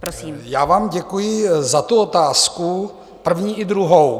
Já vám děkuji za tu otázku, první i druhou.